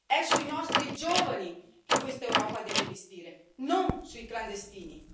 È sui nostri giovani che questa Europa deve investire, non sui clandestini.